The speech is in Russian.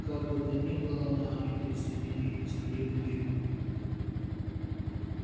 как бы то ни было но они присоединились к лип липу